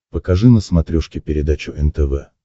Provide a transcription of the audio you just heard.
покажи на смотрешке передачу нтв